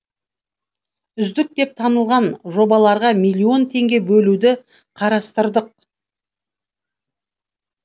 үздік деп танылған жобаларға миллион теңге бөлуді қарастырдық